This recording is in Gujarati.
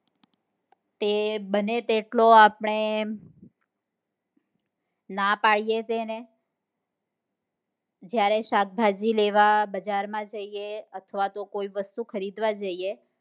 તો બને તેટલો આપણે ના પાડીએ તેને જયારે શાકભાજી લેવા બજાર માં જઈએ અથવા તો કોઈ વસ્તુ ખરીદવા જઈએ